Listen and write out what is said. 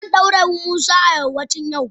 Zan daure musa a yammacin yau.